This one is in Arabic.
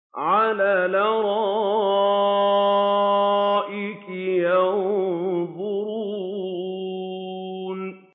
عَلَى الْأَرَائِكِ يَنظُرُونَ